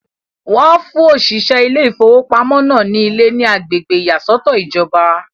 Wọ́n fún òṣìṣẹ́ ilé ìfowópamọ́ náà ní ilé ní agbègbè ìyàsọ́tọ̀ ìjọba.